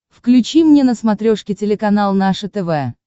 включи мне на смотрешке телеканал наше тв